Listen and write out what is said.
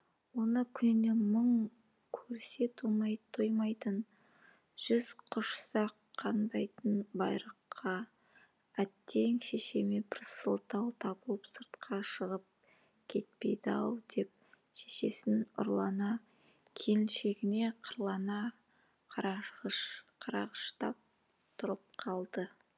оны күніне мың көрсе тоймайтын жүз құшсақ қанбайтын байрықа әттең шешеме бір сылтау табылып сыртқа шығып кетпейді ау деп шешесіне ұрлана келіншегіне қырлана қарағыштап тұрып қалды